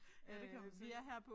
Ja det kan man se